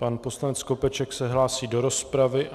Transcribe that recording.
Pan poslanec Skopeček se hlásí do rozpravy.